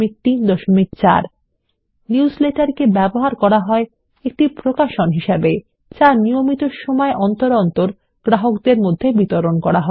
একটি নিউজলেটার কে ব্যবহার করা হয় একটি প্রকাশন হিসেবেযা নিয়মিত সময় অন্তর তার গ্রাহকদের বিতরন করা হয়